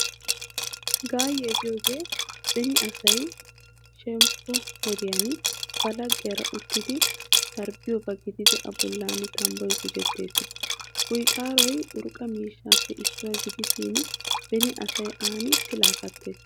Gaayyiyaa giyoogee beni asay shemppo wodiyan ba laggiyaara uttidi sarbbiyooba gididi a bollan tambboy gujettees. Kuyxaaroy urqqa miishshaappe issuwaa gidishin beni asay aani pilaa kattees.